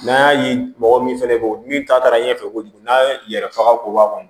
N'an y'a ye mɔgɔ min fana bɛ yen min ta taara ɲɛfɛ kojugu n'a yɛrɛ faga ko b'a kɔnɔ